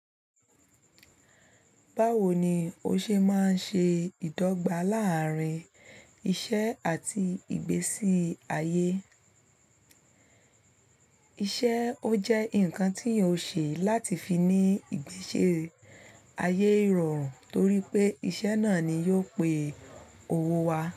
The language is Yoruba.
Báwo ni o ṣe máa ṣe ìdọ́gba láàárín iṣẹ́ àti ìgbésí ayé? Iṣẹ́ ó jẹ́ ǹkan tí yóò ṣe láti fi ní ìgbésí ayé rọrùn torí pé iṣẹ́ náà ni yóò pè owó wa.